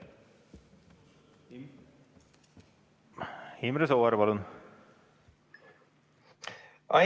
Imre Sooäär, palun!